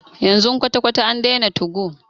Yanzu kwata kwata a daina 2go.